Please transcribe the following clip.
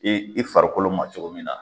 Ee i farikolo ma cogo min na